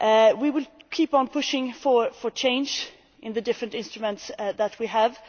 We will keep on pushing for change with the different instruments that we have.